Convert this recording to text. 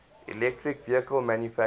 electric vehicle manufacturers